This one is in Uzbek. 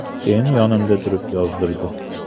Keyin yonimda turib yozdirdi.